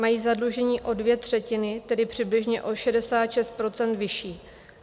Mají zadlužení o dvě třetiny, tedy přibližně o 66 % vyšší.